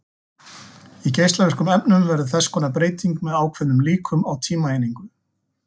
Í geislavirkum efnum verður þess konar breyting með ákveðnum líkum á tímaeiningu.